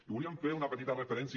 i volíem fer una petita referència